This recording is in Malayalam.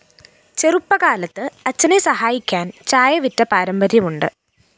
ചെറുപ്പകാലത്ത് അച്ഛനെ സഹായിക്കാന്‍ ചായ വിറ്റ പാരമ്പര്യമുണ്ട്